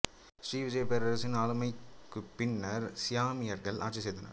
ஸ்ரீ விஜயா பேரரசின் ஆளுமைக்குப் பின்னர் சயாமியர்கள் ஆட்சி செய்தனர்